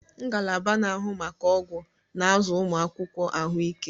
Ngalaba na-ahụ maka ọgwụ na-azụ ụmụ akwụkwọ ahụike.